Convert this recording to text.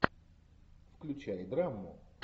включай драму